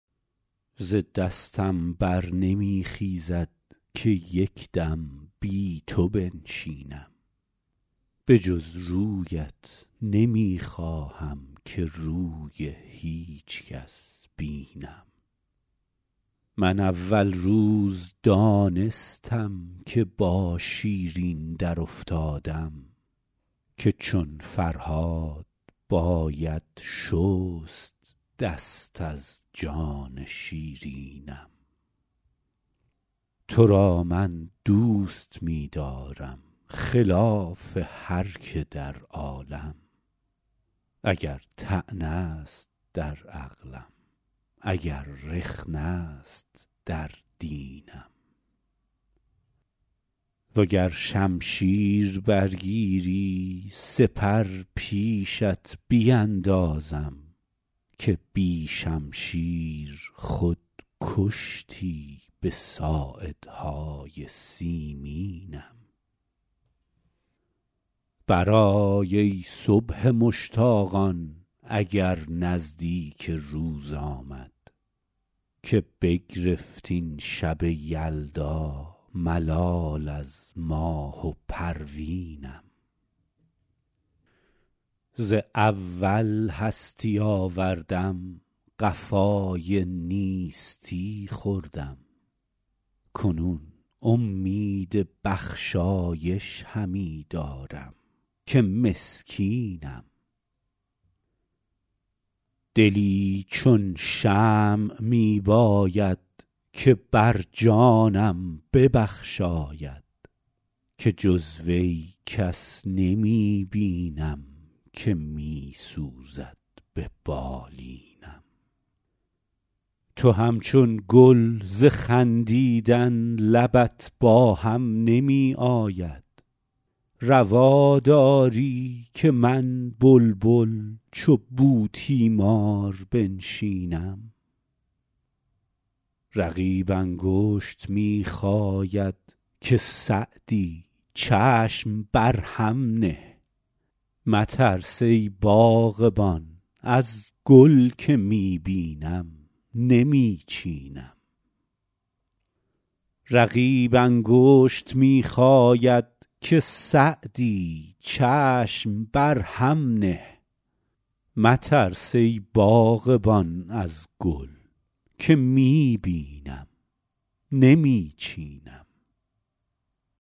ز دستم بر نمی خیزد که یک دم بی تو بنشینم به جز رویت نمی خواهم که روی هیچ کس بینم من اول روز دانستم که با شیرین درافتادم که چون فرهاد باید شست دست از جان شیرینم تو را من دوست می دارم خلاف هر که در عالم اگر طعنه است در عقلم اگر رخنه است در دینم و گر شمشیر برگیری سپر پیشت بیندازم که بی شمشیر خود کشتی به ساعدهای سیمینم برآی ای صبح مشتاقان اگر نزدیک روز آمد که بگرفت این شب یلدا ملال از ماه و پروینم ز اول هستی آوردم قفای نیستی خوردم کنون امید بخشایش همی دارم که مسکینم دلی چون شمع می باید که بر جانم ببخشاید که جز وی کس نمی بینم که می سوزد به بالینم تو همچون گل ز خندیدن لبت با هم نمی آید روا داری که من بلبل چو بوتیمار بنشینم رقیب انگشت می خاید که سعدی چشم بر هم نه مترس ای باغبان از گل که می بینم نمی چینم